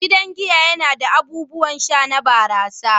Gidan giya yana da abubuwan sha na barasa.